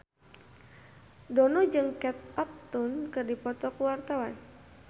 Dono jeung Kate Upton keur dipoto ku wartawan